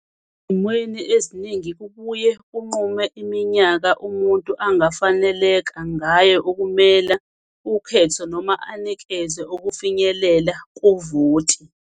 Ezimweni eziningi, kubuye kunqume iminyaka umuntu angafaneleka ngayo ukumela ukhetho noma anikezwe ukufinyelela kuvoti.